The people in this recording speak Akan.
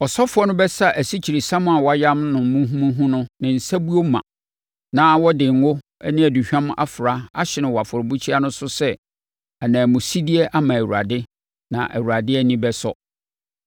Ɔsɔfoɔ no bɛsa asikyiresiam a wɔayam no muhumuhu no ne nsabuo ma na ɔde ngo ne aduhwam afra ahye no wɔ afɔrebukyia no so sɛ ananmusideɛ ama Awurade; na Awurade ani bɛsɔ.